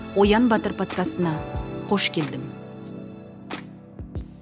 оян батыр подкастына қош келдің